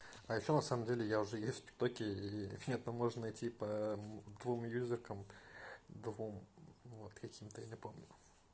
а ещё на самом деле я уже есть в тик-токе и нет ну можно найти по двум юзакам двум вот каким-то я не помню